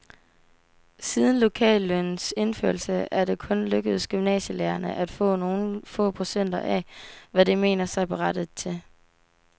Siden lokallønnens indførelse er det kun lykkedes gymnasielærerne at få nogle få procent af, hvad de mener sig berettiget til.